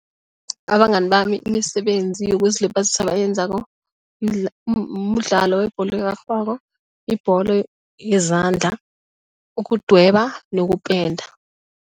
Abangani bami imisebenzi yokuzilibazisa abayenzako mdlalo webholo erarhwako ibholo yezandla ukudweba nokupenda.